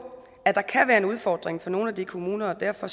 at der kan være en udfordring for nogle af de kommuner og derfor